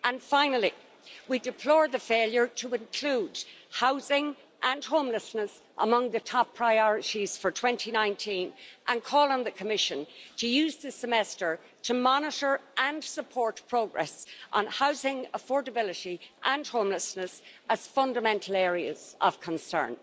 Finally, we deplore the failure to include housing and homelessness among the top priorities for 2019, and call on the Commission to use this semester to monitor and support progress on housing affordability and homelessness as fundamental areas of concern.